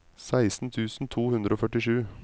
seksten tusen to hundre og førtisju